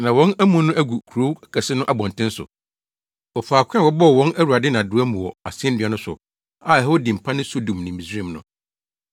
na wɔn amu no agu kurow kɛse no abɔnten so, wɔ faako a wɔbɔɔ wɔn Awurade nnadewa mu wɔ asennua no so a ɛhɔ din pa ne Sodom ne Misraim no.